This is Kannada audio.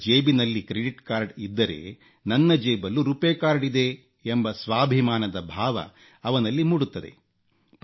ಅವರ ಜೇಬಿನಲ್ಲಿ ಕ್ರೆಡಿಟ್ ಕಾರ್ಡ ಇದ್ದರೆ ನನ್ನ ಜೇಬಲ್ಲೂ ರುಪೇ ಕಾರ್ಡ್ ಇದೆ ಎಂಬ ಸ್ವಾಭಿಮಾನದ ಭಾವ ಅವನಲ್ಲಿ ಮೂಡುತ್ತದೆ